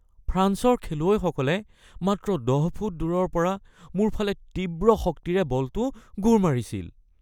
ফ্ৰান্সৰ খেলুৱৈসকলে মাত্ৰ ১০ ফুট দূৰৰ পৰা মোৰ ফালে তীব্ৰ শক্তিৰে বলটো গোৰ মাৰিছিল|